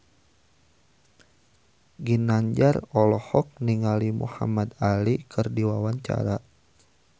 Ginanjar olohok ningali Muhamad Ali keur diwawancara